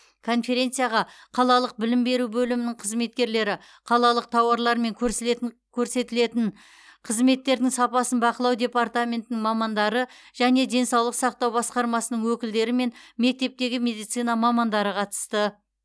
конференцияға қалалық білім беру бөлімінің қызметкерлері қалалық тауарлар мен көрсілетін көрсетілетін қызметтердің сапасын бақылау департаментінің мамандары және денсаулық сақтау басқармасының өкілдері мен мектептегі медицина мамандары қатысты